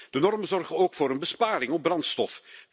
De normen zorgen ook voor een besparing op brandstof.